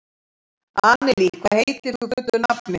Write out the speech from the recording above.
Annelí, hvað heitir þú fullu nafni?